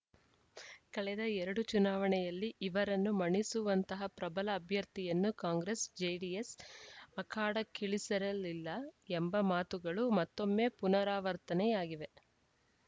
ಕಳೆದ ಎರಡು ಚುನಾವಣೆಯಲ್ಲಿ ಇವರನ್ನು ಮಣಿಸುವಂತಹ ಪ್ರಬಲ ಅಭ್ಯರ್ಥಿಯನ್ನು ಕಾಂಗ್ರೆಸ್‌ ಜೆಡಿಎಸ್‌ ಅಖಾಡಕ್ಕಿಳಿಸಿರಲಿಲ್ಲ ಎಂಬ ಮಾತುಗಳು ಮತ್ತೊಮ್ಮೆ ಪುನಾರವರ್ತನೆಯಾಗಿವೆ